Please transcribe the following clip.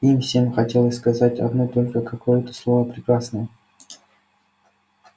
им всем хотелось сказать одно только какое-то слово прекрасное